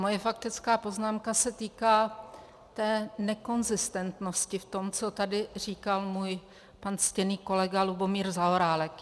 Moje faktická poznámka se týká té nekonzistentnosti v tom, co tady říkal můj pan ctěný kolega Lubomír Zaorálek.